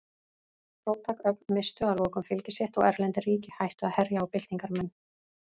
Róttæk öfl misstu að lokum fylgi sitt og erlend ríki hættu að herja á byltingarmenn.